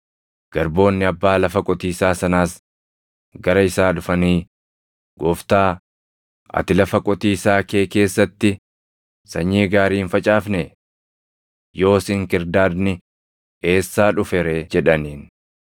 “Garboonni abbaa lafa qotiisaa sanaas gara isaa dhufanii, ‘Gooftaa, ati lafa qotiisaa kee keessatti sanyii gaarii hin facaafnee? Yoos inkirdaadni eessaa dhufe ree?’ jedhaniin.